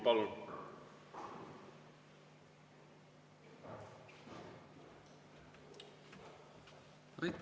Palun!